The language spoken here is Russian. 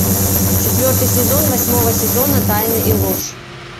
четвертый сезон восьмого сезона тайны и ложь